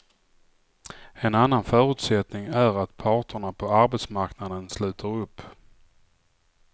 En annan förutsättning är att parterna på arbetsmarknaden sluter upp.